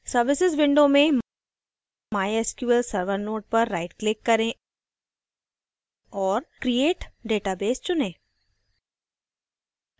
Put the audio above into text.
services window में mysql server node पर right click करें और create database चुनें